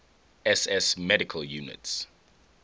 ss medical units